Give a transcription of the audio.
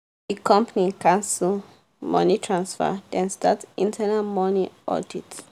the company cancel money transfer dem start internal money audit.